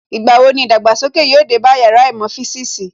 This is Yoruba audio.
Ìgbà wo ni ìdàgbàsókè yóò dé bá Yàrá īmò fisiisi